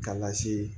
K'a lase